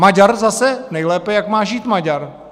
Maďar zase nejlépe, jak má žít Maďar.